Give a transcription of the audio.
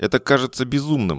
это кажется безумным